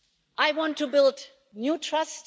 I want to build new trust.